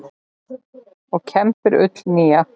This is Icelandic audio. og kembir ull nýja.